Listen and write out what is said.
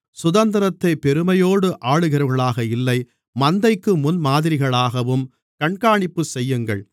சுதந்திரத்தை பெருமையோடு ஆளுகிறவர்களாக இல்லை மந்தைக்கு முன்மாதிரிகளாகவும் கண்காணிப்புச் செய்யுங்கள்